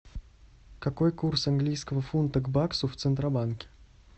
какой курс английского фунта к баксу в центробанке